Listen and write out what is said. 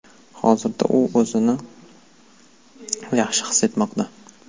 Hozirda u o‘zini yaxshi his etmoqda.